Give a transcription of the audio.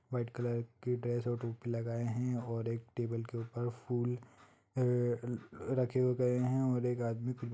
white colour की dress और टोपी लगाए है और एक टेबुल के ऊपर फूल र-अ-रखे गए है और एक आदमी--